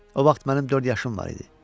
O vaxt mənim dörd yaşım var idi.